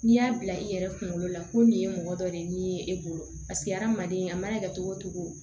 N'i y'a bila i yɛrɛ kunkolo la ko nin ye mɔgɔ dɔ de ye e bolo paseke hadamaden a mana kɛ cogo o cogo